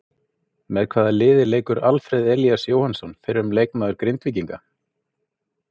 Með hvaða liði leikur Alfreð Elías Jóhannsson fyrrum leikmaður Grindvíkinga?